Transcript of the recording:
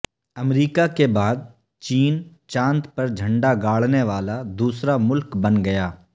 امریکہ کے بعد چین چاند پر جھنڈا گاڑنے والا دوسرا ملک بن گیا